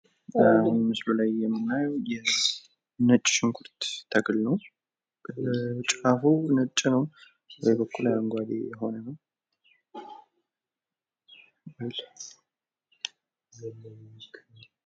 ምስሉ ላይ የምናየው የነጭ ሽንኩርት ተክል ነው። ጫፉ ነጭ ነው በላይ በኩል አረንጓዴ የሆነ ነው።